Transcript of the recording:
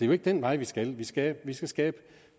jo ikke den vej vi skal vi skal skal skabe